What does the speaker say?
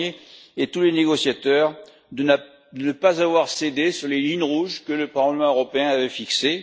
Barnier et tous les négociateurs de ne pas avoir cédé sur les lignes rouges que le Parlement européen avait fixées.